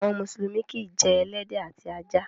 Àwọn mùsùlùmí kìí jẹ ẹlẹ́dẹ̀ àti ajá.